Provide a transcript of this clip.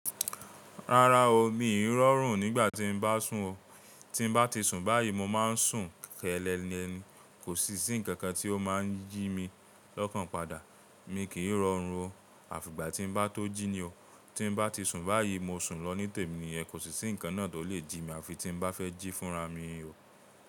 Rárá o, mi ò rọrùn nígbà tí ń bá sùn o. Tí ń bá ti sùn báyìí, mo máa ń sùn kẹ́lẹ́lẹ́ ni, kò sì sí ǹkan kan tí ó máa ń jí mi lọ́kàn padà. Mi kì í rọrùn o, àfi ìgbà tí ń bá tó jí ni o. Tí ń bá ti sùn báyìí, mo sùn lọ ní tèmi niyẹn, kò sí sí ǹkan náà tó lè jí mi, àfi tí ń bá fẹ́ jí fúnra mi o.